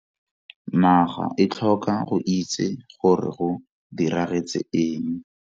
Naga e tlhoka go itse gore go diragetse eng.